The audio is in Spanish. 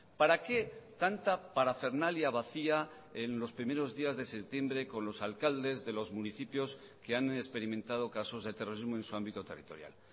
para qué tanta parafernalia vacía en los primeros días de septiembre con los alcaldes de los municipios que han experimentado casos de terrorismo en su ámbito territorial